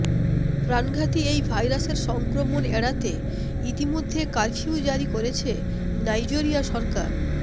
প্রাণঘাতী এই ভাইরাসের সংক্রমণ এড়াতে ইতোমধ্যে কারফিউ জারি করেছে নাইজেরিয়া সরকার